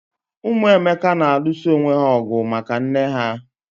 Ụmụ Emeka na alụso onwé ha ọgụ maka nné ha